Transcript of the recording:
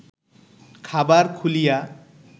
খাবার খুলিয়া